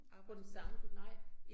På den samme nej